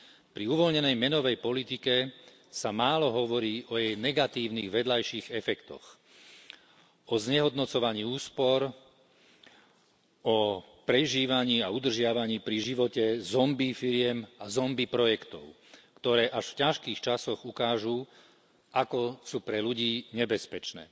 Pri uvoľnenej menovej politike sa málo hovorí o jej negatívnych vedľajších efektoch, o znehodnocovaní úspor, o prežívaní a udržiavaní pri živote zombie firiem a zombie projektov, ktoré až v ťažkých časoch ukážu, ako sú pre ľudí nebezpečné.